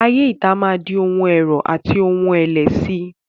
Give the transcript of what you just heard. Ayé ìta máa di ohun ẹ̀rọ̀ àti ohun ẹ̀lẹ̀ síi.